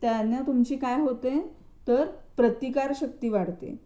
त्यानं तुमची काय होते तर प्रतिकारशक्ती वाढते